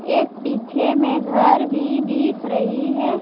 एक पीछे में घर भी दिख रही है।